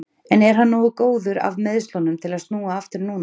En er hann nógu góður af meiðslunum til að snúa aftur núna?